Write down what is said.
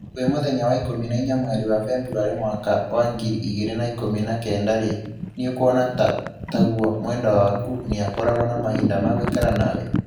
Kwi mũthenya wa ikũmi na ĩnya mweri wa Februarĩ mwaka wa ngiri igĩrĩ na ikũmi na kenda-rĩ, nĩ ũkuona ta taguo mwendwa waku nĩakoragwo na mahinda ma gũikara nawe?